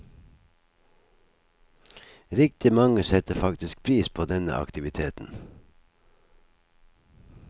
Riktig mange setter faktisk pris på denne aktiviteten.